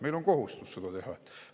Meil on kohustus seda teha!